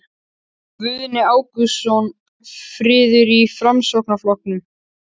Guðni Ágústsson: Friður í Framsóknarflokknum?